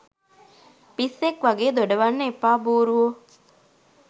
පිස්සෙක් වගේ දොඩවන්න එපා බූරුවො